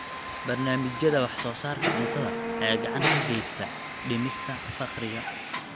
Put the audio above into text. Barnaamijyada wax-soo-saarka cuntada ayaa gacan ka geysta dhimista faqriga.